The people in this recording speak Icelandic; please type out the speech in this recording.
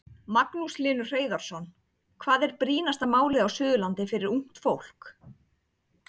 Magnús Hlynur Hreiðarsson: Hvað er brýnasta málið á Suðurlandi fyrir ungt fólk?